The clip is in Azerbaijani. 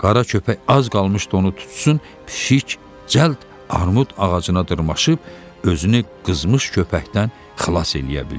Qara köpək az qalmışdı onu tutsun, pişik cəld armud ağacına dırmaşıb özünü qızmış köpəkdən xilas eləyə bildi.